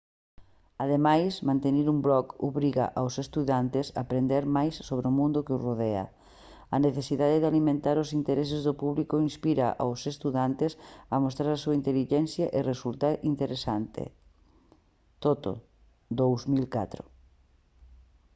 ademais manter un blog obriga aos estudantes a aprender máis sobre mundo que os rodea". a necesidade de alimentar os intereses do público inspira aos estudantes a mostrar a súa intelixencia e resultar interesantes toto 2004